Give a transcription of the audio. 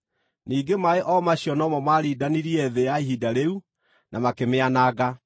Ningĩ maaĩ o macio no mo maarindanirie thĩ ya ihinda rĩu, na makĩmĩananga.